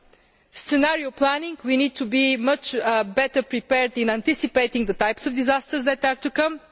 four points. With regard to scenario planning, we need to be much better prepared in anticipating the types of disasters that